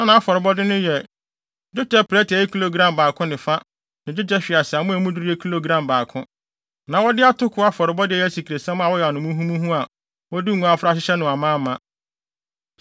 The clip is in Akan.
Na nʼafɔrebɔde no yɛ: dwetɛ prɛte a ɛyɛ kilogram baako ne fa ne dwetɛ hweaseammɔ a emu duru yɛ kilogram baako. Na wɔde atoko afɔrebɔde a ɛyɛ asikresiam a wɔayam no muhumuhu a wɔde ngo afra ahyehyɛ no amaama;